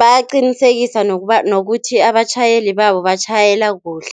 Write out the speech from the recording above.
Bayaqinisekisa nokuba nokuthi abatjhayeli babo batjhayela kuhle.